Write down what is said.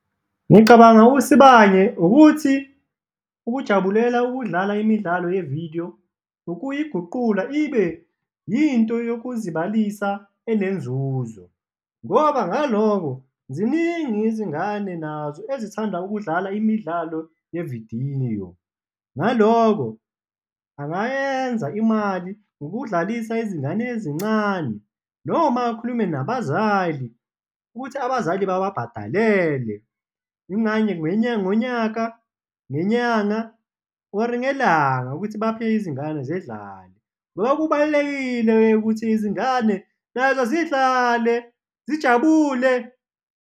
Ngicabanga uSibanye ukuthi ukujabulela ukudlala imidlalo yevidiyo, ukuyiguqula ibe yinto yokuzibalisa enenzuzo ngoba ngaloko, ziningi izingane nazo ezithanda ukudlala imidlalo yevidiyo. Ngaloko angayenza imali ngokudlalisa izingane ezincane noma akhulume nabazali ukuthi abazali bababhadalele ngonyaka, ngenyanga or-i ngelanga, ukuthi baphe izingane zidlale ngoba kubalulekile ukuthi izingane nazo zidlale zijabule.